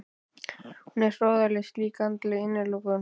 Hún er hroðaleg slík andleg innilokun.